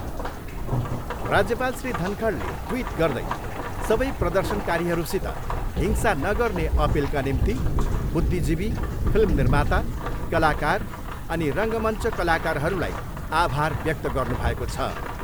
राज्यपाल श्री धनखडले ट्विट गर्दै सबे प्रर्दशनकारीहरूसित हिंसा नगर्ने अपिलका निम्ति बुद्धिजीवी, फिल्म निर्माता, कलाकार अनि रङ्गमञ्च कलाकारहरूलाई आभार व्यक्त गर्नुभएको छ।